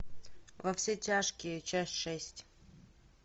во все тяжкие часть шесть